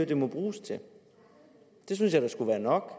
det må bruges til det synes jeg da skulle være nok